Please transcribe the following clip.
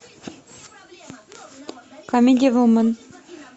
камеди вумен